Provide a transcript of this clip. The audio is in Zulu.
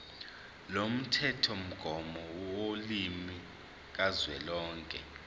lomthethomgomo wolimi kazwelonke